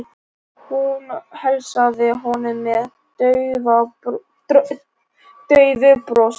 Hún heilsaði honum með daufu brosi.